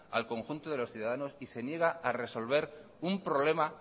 al conjunto de los ciudadanos se niega a resolver un problema